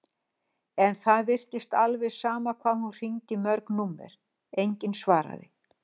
En það virtist alveg sama hvað hún hringdi í mörg númer, enginn svaraði.